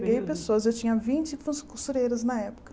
pessoas, eu tinha vinte fun costureiras na época.